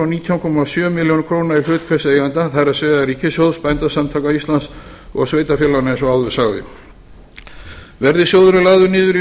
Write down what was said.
nítján komma sjö milljónir króna í hlut hvers eiganda það er ríkissjóðs bændasamtaka íslands og sveitarfélaganna eins og áður sagði verði sjóðurinn lagður niður í